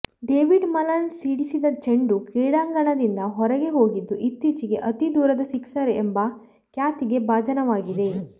David Malan ಸಿಡಿಸಿದ ಚೆಂಡು ಕ್ರೀಡಾಂಗಣದಿಂದ ಹೊರಗೆ ಹೋಗಿದ್ದು ಇತ್ತೀಚೆಗೆ ಅತೀ ದೂರದ ಸಿಕ್ಸರ್ ಎಂಬ ಖ್ಯಾತಿಗೆ ಭಾಜನವಾಗಿದೆ